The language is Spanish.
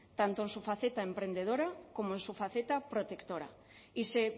tanto en su faceta emprendedora como en su faceta protectora y se